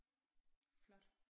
Flot